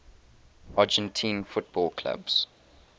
argentine football clubs